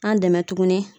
An dɛmɛ tuguni